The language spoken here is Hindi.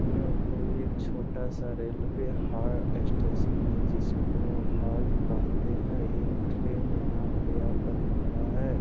यह कोई एक छोटा सा रेलवे ह् स्टेशन है जिसको हाल्ट कहते है यह एक ट्रैन यहाँ पे आकर खड़ा है।